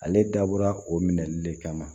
Ale dabɔra o minɛli le kama